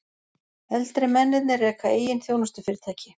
Eldri mennirnir reka eigin þjónustufyrirtæki